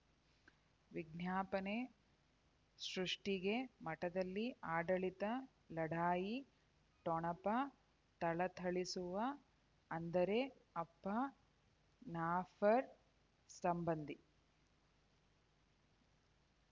ವಿಜ್ಞಾಪನೆ ಸೃಷ್ಟಿಗೆ ಮಠದಲ್ಲಿ ಆಡಳಿತ ಲಢಾಯಿ ಠೊಣಪ ಥಳಥಳಿಸುವ ಅಂದರೆ ಅಪ್ಪ ನಫರ್ ಸಂಬಂಧಿ